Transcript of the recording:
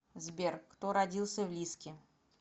сбер кто родился в лиски